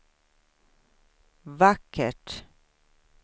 vackert